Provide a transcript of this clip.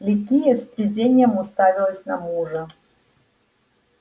ликия с презрением уставилась на мужа